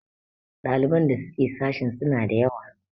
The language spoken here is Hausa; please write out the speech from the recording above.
ɗaliban da suke sashin suna da yawa?